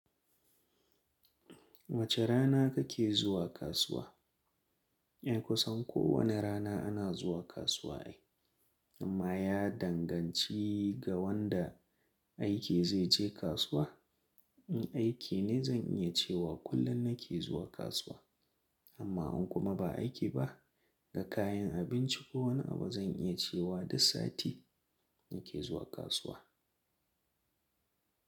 Wace rana kake zuwa kasuwa? Eh, kusan kowane rana ana zuwa kasuwa ai. Amma ya danganci ga wanda aiki zai je kasuwa. In aiki ne zan iya cewa kullum nake zuwa kasuwa. Amma in kuma ba aiki ba, ga kayan abinci ko wani abu zan iya cewa duk sati nake zuwa kasuwa.